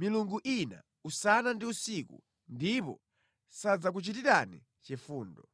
milungu ina usana ndi usiku, ndipo sadzakuchitirani chifundo.’ ”